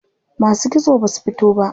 Masu kitso basu fito ba.